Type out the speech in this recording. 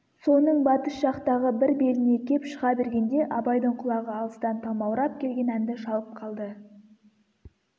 соның батыс жақтағы бір беліне кеп шыға бергенде абайдың құлағы алыстан талмаурап келген әнді шалып қалды